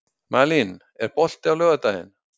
Malín, er bolti á laugardaginn?